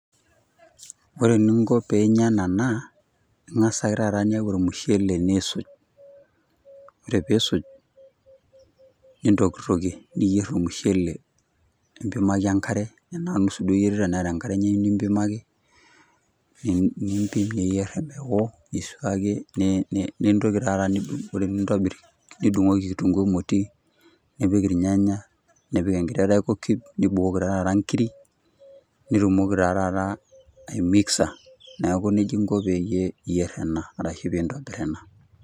Ore eninko peinya ena naa, ing'asa ake taata niyau ormushele nisuj. Ore pisuj, nintokitokie. Niyier ormushele, nimpimaki enkare, enaa nusu duo iyierita neeta enkare enye nimpimaki, niyier omeo, nisuaki nintoki taata nintobir nidung'oki kitunkuu emoti, nipik irnyanya, nipik enkiti royco cube ,nibukoki ta taata nkiri, nitumoki ta taata aimixa. Neeku nejia inko peyie iyier ena, arashu pintobir ena.